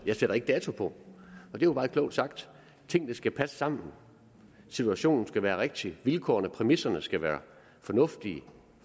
jeg sætter ikke dato på det var meget klogt sagt tingene skal passe sammen situationen skal være rigtig vilkårene præmisserne skal være fornuftige